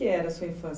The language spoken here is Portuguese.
era a sua infância?